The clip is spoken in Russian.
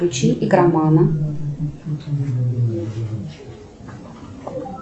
включи игромана